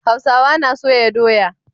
Hausawa na soya doya.